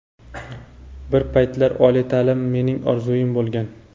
Bir paytlar oliy ta’lim mening orzuim bo‘lgan.